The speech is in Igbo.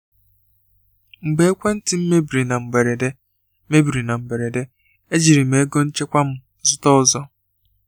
Mgbe ekwentị m mebiri na mberede, mebiri na mberede, ejiri m ego nchekwa m zụta ọzọ.